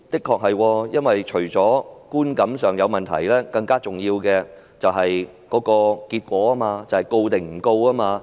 確實除了觀感上有問題，更重要的是結果，便是究竟會否作檢控？